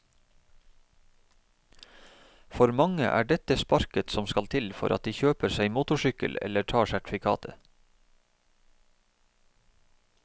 For mange er dette sparket som skal til for at de kjøper seg motorsykkel eller tar sertifikatet.